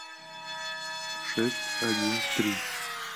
шесть один три